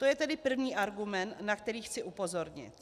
To je tedy první argument, na který chci upozornit.